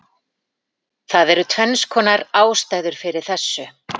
Það eru tvennskonar ástæður fyrir þessu: